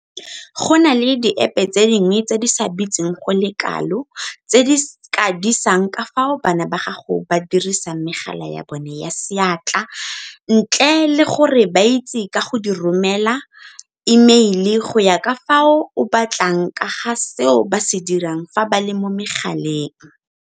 Go na le diepe tse dingwe tse di sa bitseng go le kalo tse di ka disang ka fao bana ba gago ba dirisang megala ya bona ya seatla ntle le gore ba itse ka di go romela imeile go ya ka fao o batlang ka ga seo ba se dirang fa ba le mo megaleng.